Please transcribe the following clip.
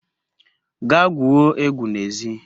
Gaa gwuo egwu n'ezi